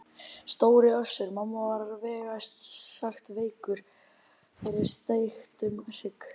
Stóri Össur-Mamma var vægast sagt veikur fyrir steiktum hrygg.